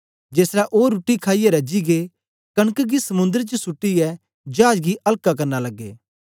जेसलै ओ रुट्टी खाईयै रजी गै कनक गी समुंद्र च सुट्टीयै चाज गी हल्का करना लगे